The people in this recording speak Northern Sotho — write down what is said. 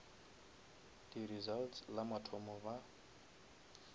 di results la mathomo ba